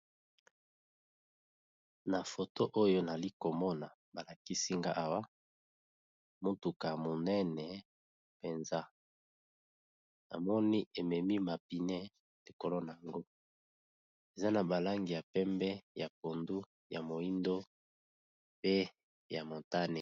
Na foto oyo, nazalì komona motuka monene mpenza. Namoni ememi mapine likolo na yango. Eza na balangi ya pembe, ya pondu, ya moindo, pe ya montane.